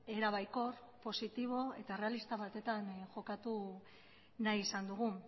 era baikor positibo eta errealista batean jokatu nahi izan dugu